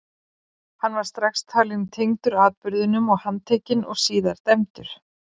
hann var strax talinn tengdur atburðinum og handtekinn og síðar dæmdur